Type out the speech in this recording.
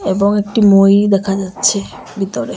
এবং একটি মই দেখা যাচ্ছে বিতরে।